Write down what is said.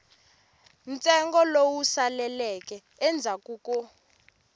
ntsengo lowu saleleke endzhaku ko